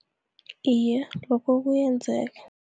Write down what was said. Iye, lokho kuyenzeka.